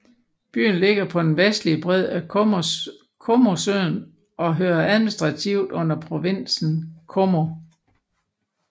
Byen ligger på den vestlige bred af Comosøen og hører administrativt under provinsen Como